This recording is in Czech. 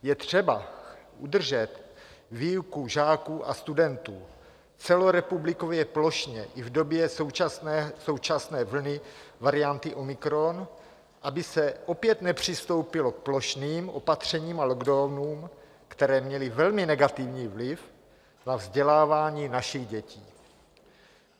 Je třeba udržet výuku žáků a studentů celorepublikově, plošně i v době současné vlny varianty omikron, aby se opět nepřistoupilo k plošným opatřením a lockdownům, které měly velmi negativní vliv na vzdělávání našich dětí.